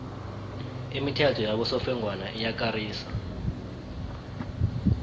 imithetho yabosofengwana iyakarisa